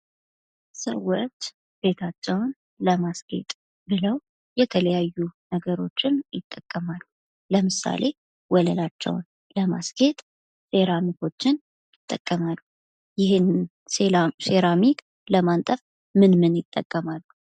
ሰዎች ቤታቸውን ለማስጌጥ ብለው የተለያዩ ነገሮችን ይጠቀማሉ ። ለምሳሌ ወለላቸውን ለማስጌጥ ሴራሚኮችን ይጠቀማሉ ። ይህን ሴራሚክ ለማንጠፍ ምን ምን ይጠቀማሉ ?